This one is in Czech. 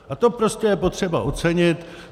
A to je prostě potřeba ocenit.